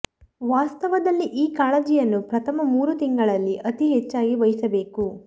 ವಾಸ್ತವದಲ್ಲಿ ಈ ಕಾಳಜಿಯನ್ನು ಪ್ರಥಮ ಮೂರು ತಿಂಗಳಲ್ಲಿ ಅತಿ ಹೆಚ್ಚಾಗಿ ವಹಿಸಬೇಕು